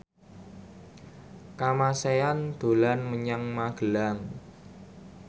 Kamasean dolan menyang Magelang